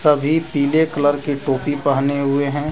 सभी पीले कलर की टोपी पहने हुए हैं।